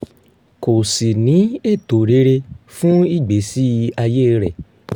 kó sì ní ètò rere fún ìgbésí ayé rẹ̀